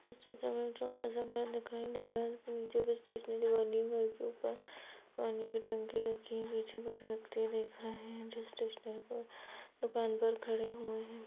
इस चित्र में छोटा सा घर दिखाई दे रहा है नीचे एक स्टेशनरी बनी घर के ऊपर पानी की टंकी रखी हुई है पीछे कुछ व्यक्ति दिख रहे है जिस स्टेशनरी पर दुकान पर खड़े हुए है।